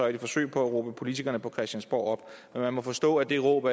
i et forsøg på at råbe politikerne på christiansborg op men man må forstå at det råb